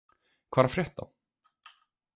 Hvað er að frétta?